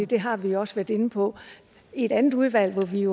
det har vi også været inde på i det andet udvalg hvor vi